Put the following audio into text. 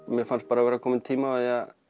mér fannst bara vera kominn tími á